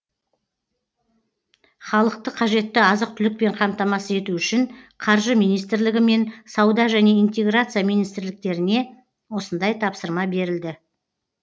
халықты қажетті азық түлікпен қамтамасыз ету үшін қаржы министрлігі мен сауда және интеграция министрліктеріне осындай тапсырма берілді